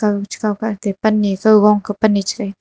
aga chakao ka atte pan ne kao gong ka pan ne cha kai taga.